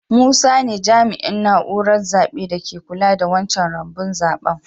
Musa ne jami'in naúrar zabe da ke kulla da wancan rumbun zaben.